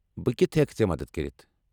بہٕ کتھہٕ ہٮ۪کہ ژے٘ مدتھ کٔرتھ؟